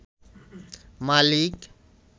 মালিক